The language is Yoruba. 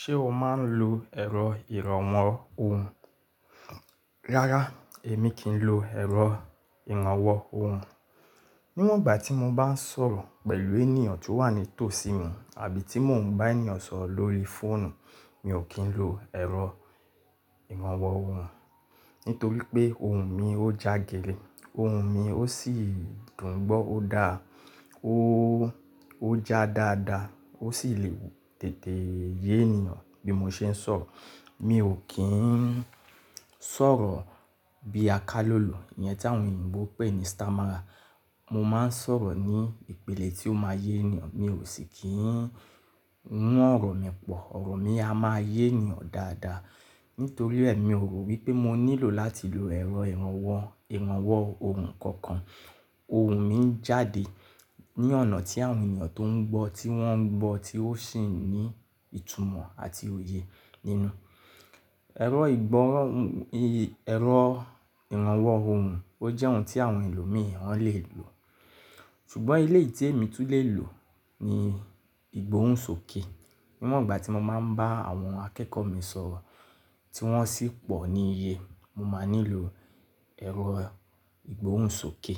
Ṣé o máa ń lo ẹ̀rọ ìrànwọ́ ohùn? Rárá, èmi kì í lo ẹ̀rọ ìrànwọ́ ohùn. Níwọ̀n ìgbà tí mo bá ń sọ̀rọ̀ pẹ̀lú ènìyàn tó wà ní tòsí mi àbí tí mò ń bá ènìyàn sọ̀rọ̀ lórí fóònù, mi ò kí ń lo ẹ̀rọ ìrànwọ́ ohùn nítorí pé ohùn mi ó jagẹlẹ̀, ohùn mi ó sì dùn gbọ́, ó dá, ó, ó já dáadáa, ó sì lè wù tètè yé ènìyàn bí mo ṣe ń sọ̀rọ̀. Mi ò kí ń sọ̀rọ̀ bí a ká lòlò yẹn tí àwọn òyìnbó pè ní stammerer. Mo máa ń sọ̀rọ̀ ní ìpele tí ó máa yé ènìyàn, mi ò sì kí ń mú ọ̀rọ̀ mi pọ̀. Ọ̀rọ̀ mi a máa yé ènìyàn dáadáa. Nítorí ẹ, mi ò rò wípé mo nílò láti lo ẹ̀rọ ìrànwọ́, ìrànwọ́ ohùn kankan. Ohùn mi ń jáde ní ọ̀nà tí àwọn ènìyàn tó ń gbọ́, tí wọ́n ń gbọ́, tí ó sì ní ìtumọ̀ àti òye nínú. Ẹ̀rọ ìgbóhùn, ì, ẹ̀rọ ìrànwọ́ ohùn ó jẹ́ ohun tí àwọn ẹlòmíràn wọn lè lò. Ṣùgbọ́n ilé ìtẹ́ mi tún lè lò ni ìgbóhùn sókè. Níwọ̀n ìgbà tí mo máa ń bá àwọn akẹ́kọ̀ọ́ mi sọ̀rọ̀ tí wọ́n sì pọ̀ ní iye, mo máa nílò ẹ̀rọ ìgbóhùn sókè